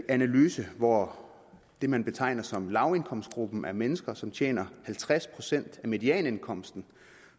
analyse hvor det man betegner som lavindkomstgruppen er mennesker som tjener halvtreds procent af medianindkomsten